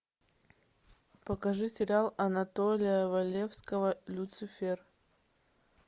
покажи сериал анатолия валевского люцифер